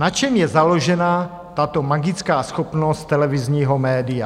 Na čem je založena tato magická schopnost televizního média?